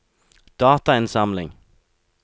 datainnsamling